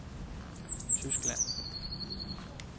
Tyskland